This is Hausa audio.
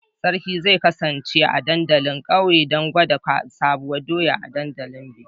Sarki zai kasance a dandalin ƙauye don gwada Sabuwar doya a lokacin bikin